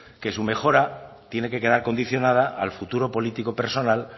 que su mejora tiene que quedar condicionada al futuro político personal